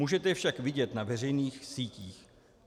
Můžete je však vidět na veřejných sítích.